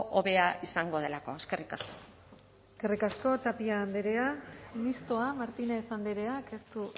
hobea izango delako eskerrik asko eskerrik asko tapia andrea mistoa martínez andreak ez du